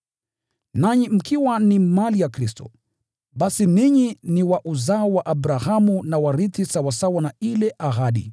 Nanyi mkiwa ni mali ya Kristo, basi ninyi ni wa uzao wa Abrahamu na warithi sawasawa na ile ahadi.